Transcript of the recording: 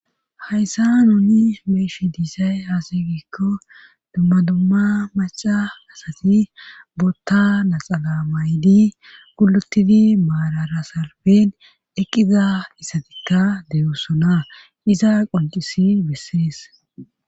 hayssa nuni meeshi diisay haase giikko dumma dumma maca asati bootta naxala maydi gulotidi maararasarben eqqiza issatikka deyoossona iza qoncisi bissinees